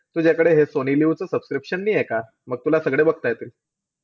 तूझ्याकडे हे सोनी लाइव्हचं subscription नाहीये का? म तुला सगळे बघता येतील.